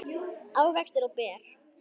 ávextir og ber